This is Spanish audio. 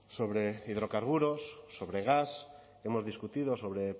sobre hidrocarburos sobre gas hemos discutido sobre